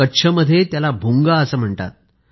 कच्छमध्ये त्याला भूंगा असं म्हणतात